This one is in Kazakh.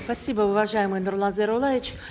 спасибо уважаемый нурлан зайроллаевич